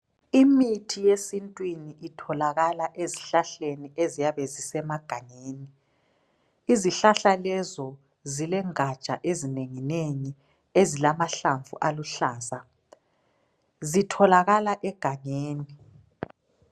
Imithi yesintwini itholakala ezihlahlani eziyabe zisemanganeni. Izihlahla lezo zilengatsha ezinengi nengi ezilamahlamvu aluhlaza. Zitholakhala egangeni.